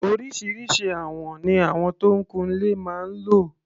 Oríṣiríṣi àwọn ni àwọn tó ń kun ilé máa ń lò.